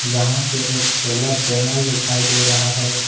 यहां पे एक सोलर पैनल दिखाई दे रहा है।